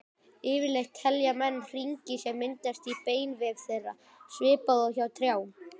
Yfirleitt telja menn hringi sem myndast í beinvef þeirra, svipað og hjá trjám.